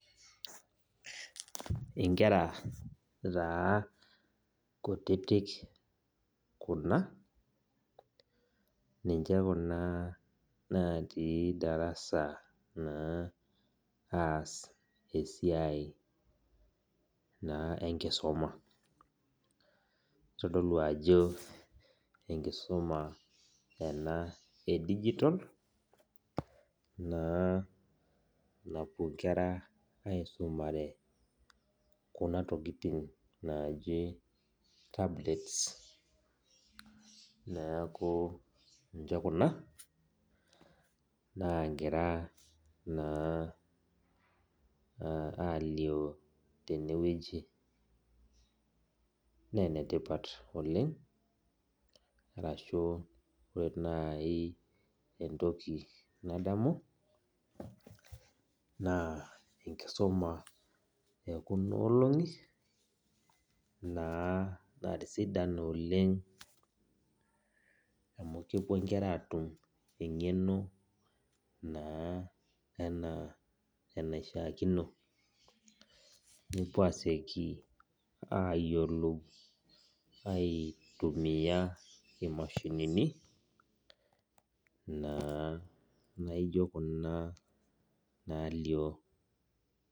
Inkera taa kutitik kuna ninche kuna natii darasa naa aas esiai naa enkisoma nitodolu ajo enkisuma ena e digital naa napuo inkera aisumare kuna tokiting naaji tablets neeku ninche kuna naagira naa uh alio tenewueji nenetipat oleng arashu ore naaji entoki nadamu naa enkisuma ekuna olong'i naa natisidana oleng amu kepuo inkera atum eng'eno naa enaa enaishiakino nepuo asieki ayiolou aitumiyia imashinini naa naijio kuna nalio.